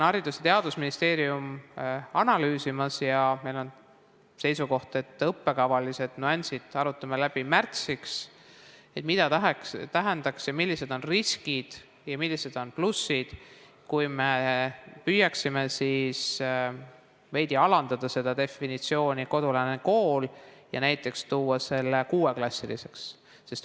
Haridus- ja Teadusministeerium on analüüsimas ja meil on seisukoht, et õppekavalised nüansid arutame läbi märtsiks, arutame, mida see tähendaks, millised on riskid ja millised on plussid, kui me püüaksime veidi üle vaadata seda definitsiooni "kodulähedane kool" ja näiteks määratleda selle kuueklassilisena.